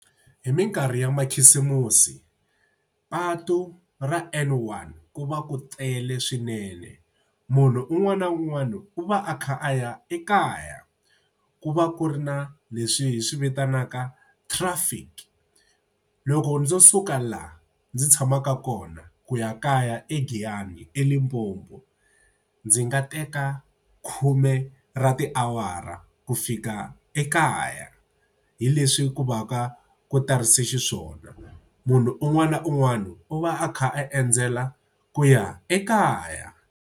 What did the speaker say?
Hi minkarhi ya makhisimusi patu ra N1 ku va ku tele swinene. Munhu un'wana na un'wana u va a kha a ya ekaya. Ku va ku ri na leswi hi swi vitanaka traffic loko ndzo suka la ndzi tshamaka kona ku ya kaya eGiyani eLimpopo ndzi nga teka khume ra tiawara ku fika ekaya hi leswi ku va ka ku tarise xiswona. Munhu un'wana na un'wana u va a kha a endzela ku ya ekaya.